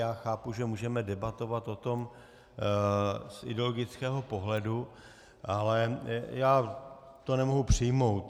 Já chápu, že můžeme debatovat o tom z ideologického pohledu, ale já to nemohu přijmout.